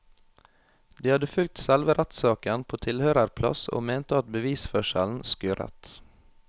De hadde fulgt selve rettssaken på tilhørerplass og mente at bevisførselen skurret.